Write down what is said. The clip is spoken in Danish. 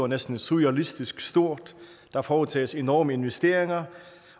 næsten surrealistisk stort der foretages enorme investeringer